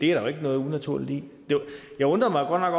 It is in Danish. jo ikke noget unaturligt i jeg undrede mig